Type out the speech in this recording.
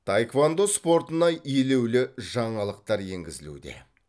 таеквондо спортына елеулі жаңалықтар енгізілуде